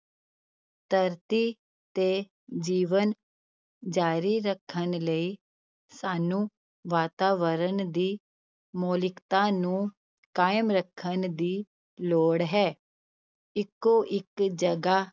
ਧਰਤੀ ਤੇ ਜੀਵਨ ਜ਼ਾਰੀ ਰੱਖਣ ਲਈ ਸਾਨੂੰ ਵਾਤਾਵਰਨ ਦੀ ਮੌਲਿਕਤਾ ਨੂੰ ਕਾਇਮ ਰੱਖਣ ਦੀ ਲੋੜ ਹੈ, ਇੱਕੋ ਇੱਕ ਜਗ੍ਹਾ